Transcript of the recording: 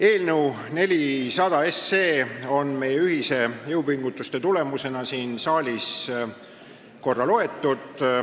Eelnõu 400 on meie ühiste jõupingutuste tulemusena siin saalis korra juba loetud.